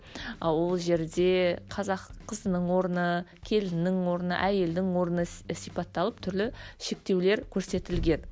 ы ол жерде қазақ қызының орны келіннің орны әйелдің орны сипатталып түрлі шектеулер көрсетілген